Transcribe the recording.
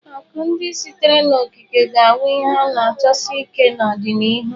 Akụ ndị sitere n'okike ga-awu ihe a na achọsi ike n'ọdịnihu.